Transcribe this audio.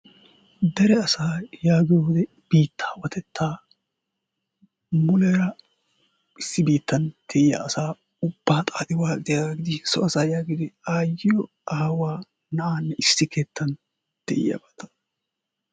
Dere asaa yaagiyoogee bittawatettaa muleera issi bittaan de'"iyaa asaa ubbaa xaxxi waaxxiya so asaa yaagiyoogee aayiyoo aawaa naa'anne issi keettan de'iya